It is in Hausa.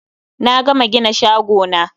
Na gama gina shagona